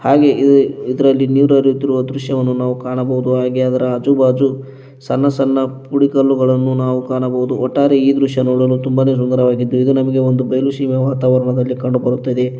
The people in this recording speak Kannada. ಹಾಗೆ ಇದು ಇದ್ರಲ್ಲಿ ನೀರು ಹರಿಯುತ್ತಿರುವ ದೃಶ್ಯವನ್ನು ನಾವು ಕಾಣಬಹುದು ಅದರ ಆಜು ಬಾಜು ಸಣ್ಣ ಸಣ್ಣ ಪುಡಿ ಕಲ್ಲುಗಳನ್ನು ನಾವು ಕಾಣಬಹುದು ಒಟ್ಟಾರೆ ಈ ದೃಶ್ಯ ನೋಡಲು ತುಂಬಾನೆ ಸುಂದರವಾಗಿದ್ದು ಇದು ನಮ್ಗೆ ಒಂದು ಬಯಲು ಸಿಮೆ ವಾತಾವರಣವಾಗಿ ಕಂಡುಬರುತ್ತದೆ.